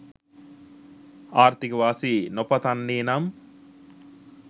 ආර්ථික වාසි නොපතන්නේ නම්.